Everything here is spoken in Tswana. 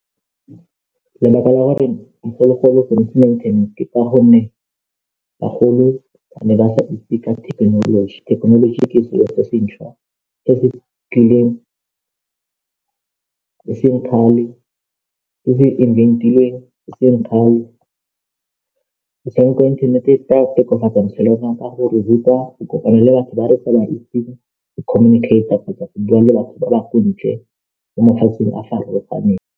Metshameko e o tla e tshamekang, ke chess-e ka gonne batho ba le ba ba rata chess-e, ebile bangwe ga ba tlhole ba tshameka kgwele ya dinao le metshameko e mengwe, ba batla fela metshameko ya chess.